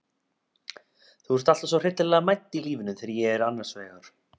Þú ert alltaf svo hryllilega mædd í lífinu þegar ég er annars vegar.